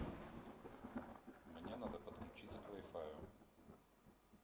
мне надо подключиться к вай фаю